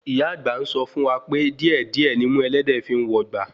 Ìyá àgbà ń sọ fún wa pé díè díè nimú ẹlẹ́dẹ̀ẹ́ fi ń wò gba